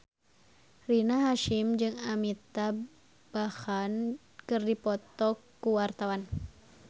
Rina Hasyim jeung Amitabh Bachchan keur dipoto ku wartawan